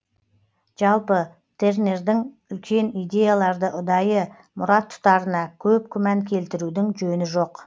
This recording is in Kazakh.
жалпы тернердің үлкен идеяларды ұдайы мұрат тұтарына көп күмән келтірудің жөні жоқ